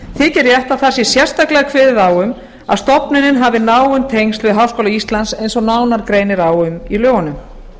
þykir rétt að það sé sérstaklega kveðið á um að stofnana hafi náin tengsl við háskóla íslands eins og nánar greinir á um í lögunum